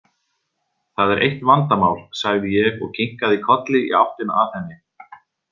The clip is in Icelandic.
Það er eitt vandamál, sagði ég og kinkaði kolli í áttina að henni.